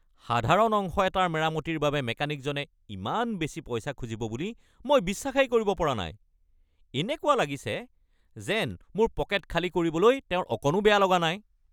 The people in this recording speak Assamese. সাধাৰণ অংশ এটাৰ মেৰামতিৰ বাবে মেকানিকজনে ইমান বেছি পইচা খুজিব বুলি মই বিশ্বাসেই কৰিব পৰা নাই! এনেকুৱা লাগিছে যেন মোৰ পকেট খালী কৰিবলৈ তেওঁৰ অকণো বেয়া লগা নাই!